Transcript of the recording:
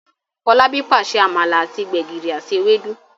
Folabi pàṣẹ amala àti gbegiri àti Ewédú.